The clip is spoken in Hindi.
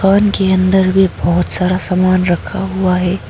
दुकान के अंदर भी बहोत सारा सामान रखा हुआ है।